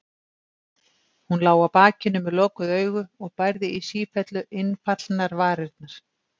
Hún lá á bakinu með lokuð augu og bærði í sífellu innfallnar varirnar.